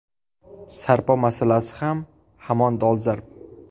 Sarpo masalasi ham hamon dolzarb.